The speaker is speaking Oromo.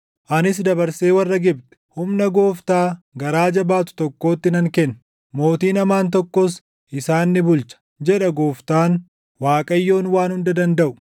Anis dabarsee warra Gibxi humna gooftaa garaa jabaatu tokkootti nan kenna; mootiin hamaan tokkos isaan ni bulcha” jedha Gooftaan, Waaqayyoon Waan Hunda Dandaʼu.